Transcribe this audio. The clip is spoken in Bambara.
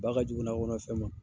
Ba kajugu nakɔnafɛn ma.